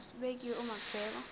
esibekiwe uma kubhekwa